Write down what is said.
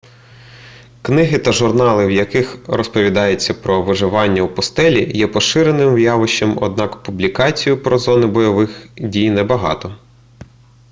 книги та журнали в яких розповідається про виживання в пустелі є поширеним явищем однак публікацій про зони бойових дій небагато